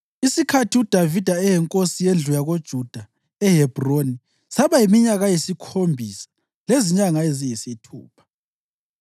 Isikhathi uDavida eyinkosi yendlu yakoJuda eHebhroni saba yiminyaka eyisikhombisa lezinyanga eziyisithupha.